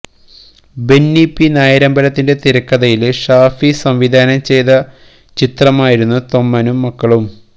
Benny P നായരമ്പലത്തിന്റെ തിരക്കഥയില് ഷാഫി സംവിധാനം ചെയ്ത ചിത്രമായിരുന്നു തൊമ്മനും മക്കളും